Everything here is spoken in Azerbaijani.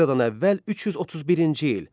Eradan əvvəl 331-ci il.